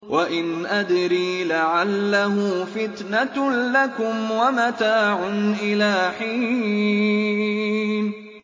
وَإِنْ أَدْرِي لَعَلَّهُ فِتْنَةٌ لَّكُمْ وَمَتَاعٌ إِلَىٰ حِينٍ